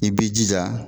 I b'i jija